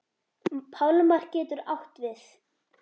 Pálmar getur átt við